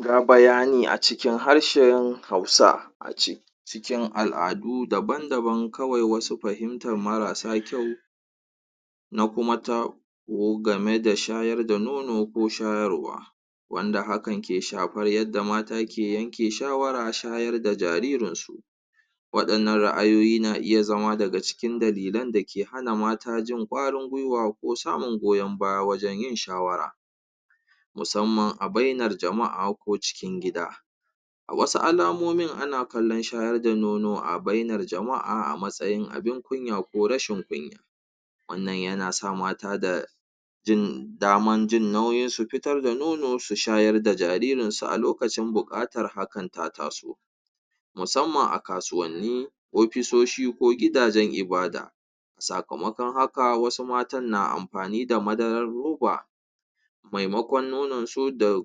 ga bayani a cikin harshan hausa ciki al'adu daban daban kawai wasu fahimtar marasa kyau na kuma game da shayar da nono ko shayarwa wanda hakan ke shafar yadda mata ke yanke shawara shayar da jaririnsu waɗannan ra'ayoyi na iya zama daga cikin dalilin da ke hana mata jin ƙwarin gwiwa ko sauyin goyan baya wajan yin shawara musamman a bainar jama'a ko cikin gida wasu alamomin ana kallan shayar da nono a bainar jama'a a matsayin abin kunya ko rashin kunya wannan yana sa mata da jin daman jin nauyin su fitar da nono su shayar da jaririnsu a lokacin buƙatar hakan ta taso musamman a kasuwanni ofisoshi ko gidajan ibadah sakamaƙon haka wasu mata na amfani da madarar ruba mai maƙon nononsu da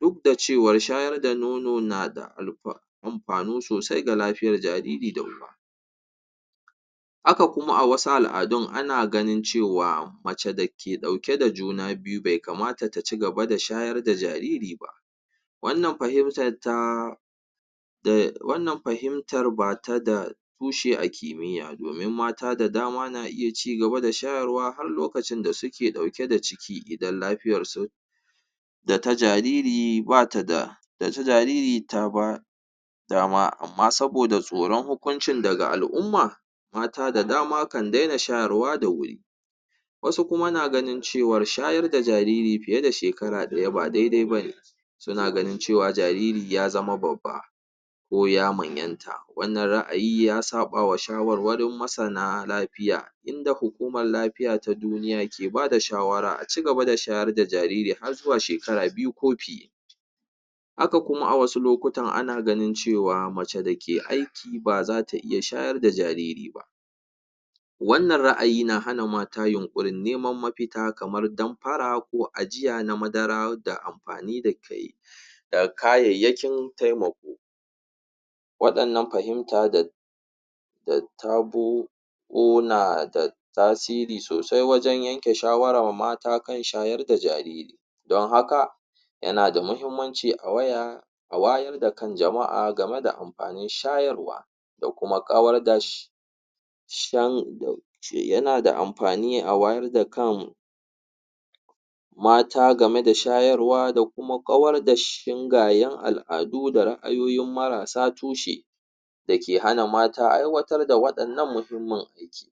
duk da cewar shayar da nono nada amfanu sosai ga lafiyar jariri da haka kuma a wasu al'adun ana ganin cewa mace dake ɗauke da juna biyu be kamata ta cigaba da shayar da jariri ba wannan fahimtar bata da tushe a ƙimiya domin mata da dama na iya cigaba da shayarwa har lokacin da suke ɗauke da ciki idan lafiyarsu data jariri bata da data jariri taba dama amma saboda tsoran hukuncin daga al'umma mata da dama kan dena shayarwa da wuri wasu kuma naganin cewar shayar da jariri fiye da shekara ɗaya ba daidai bane suna ganin cewa jariri ya zama babba ko ya manyanta wannan ra'ayi ya saɓawa shawarwarin masana lafiya inda hukumar lafiya ta duniya ke bada shawara a cigaba da shayar da jariri har zuwa shekara biyu ko fiye haka kuma a wasu lokutan ana ganin cewa mace dake aiki baza ta iya shayar da jariri ba wannan ra'ayi na hana mata yunƙurin neman mafita kamar damfara ko ajiya na madara da amfani da kayi da kayayyakin taimako waɗannan fahimta da tasiri sosai wajan yanke shawarar mata kan shayar da jariri don haka yana da muhimmanci a wayar da kan jama'a game da amfanin shayarwa yana da amfani a wayar da kan mata game da shayarwa da kuma ƙawar da shingayan al'adu da ra'ayoyin marasa tushe dake hana mata aiwatar da waɗannan muhimmin abu